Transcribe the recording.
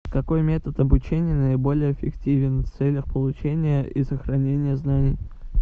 какой метод обучения наиболее эффективен в целях получения и сохранения знаний